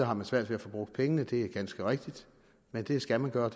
har man svært ved at få brugt pengene det er ganske rigtigt men det skal man gøre